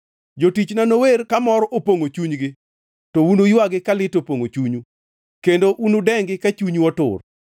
Jotichna nower, kamor opongʼo chunygi, to unuywagi ka lit opongʼo chunyu, kendo unudengi ka chunyu otur.